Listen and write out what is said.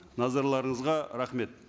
назарларыңызға рахмет